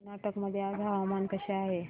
कर्नाटक मध्ये आज हवामान कसे आहे